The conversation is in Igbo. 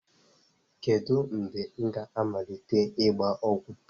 Kedu mgbe m ga-amalite ịgba ọgwụ?